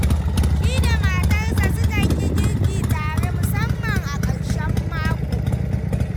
Shi da matarsa sukan yi girki tare, musamman a ƙarshen mako.